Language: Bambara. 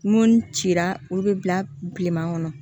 Mun cira olu bɛ bila bilenman kɔnɔ